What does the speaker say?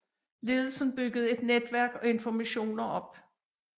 Ledelsen byggede et netværk af informanter op